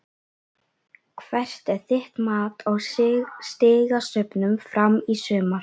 Hvert er þitt mat á stigasöfnun Fram í sumar?